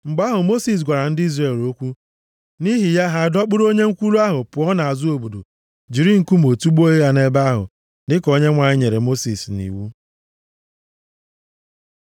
Mgbe ahụ, Mosis gwara ndị Izrel okwu, nʼihi ya ha dọkpụụrụ onye nkwulu ahụ pụọ nʼazụ obodo, jiri nkume tugbuo ya nʼebe ahụ, dịka Onyenwe anyị nyere Mosis nʼiwu.